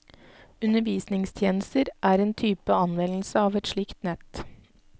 Undervisningstjenester er en type anvendelse av et slikt nett.